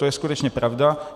To je skutečně pravda.